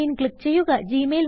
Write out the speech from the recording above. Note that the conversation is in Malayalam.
സൈൻ Inക്ലിക്ക് ചെയ്യുക